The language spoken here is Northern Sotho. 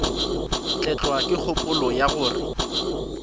tlelwa ke kgopolo ya gore